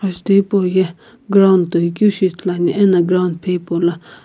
ajutho hipauye ground toikeu shi ithuluani eno ground phe hipaulo--